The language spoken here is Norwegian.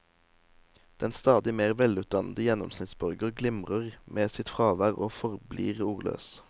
Den stadig mer velutdannede gjennomsnittsborger glimrer med sitt fravær og forblir ordløs.